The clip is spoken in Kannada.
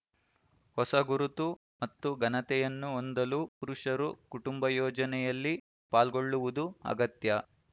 ಹೊಸ ಗುರುತು ಮತ್ತು ಘನತೆಯನ್ನು ಹೊಂದಲು ಷುರುಷರು ಕುಟುಂಬ ಯೋಜನೆಯಲ್ಲಿ ಪಾಲ್ಗೊಳ್ಳುವುದು ಅಗತ್ಯ